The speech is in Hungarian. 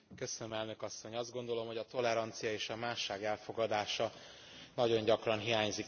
Azt gondolom, hogy a tolerancia és a másság elfogadása nagyon gyakran hiányzik Európában.